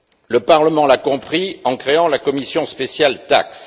Le Parlement l'a compris en créant la commission spéciale TAXE.